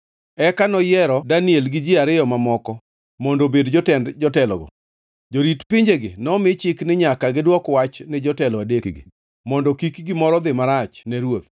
Eka noyiero Daniel gi ji ariyo mamoko mondo obed jotend jotelogo. Jorit pinjegi nomi chik ni nyaka gidwok wach ni jotelo adekgi, mondo kik gimoro dhi marach ne ruoth.